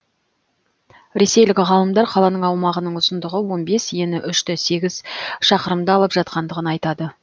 ресейлік ғалымдар қаланың аумағының ұзындығы он бес ені үш те сегіз шақырымды алып жатқандығын айтады